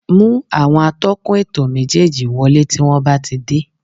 Mú àwọn atọ́kùn ètò méjéèjì wọlé tí wọ́n bá ti dé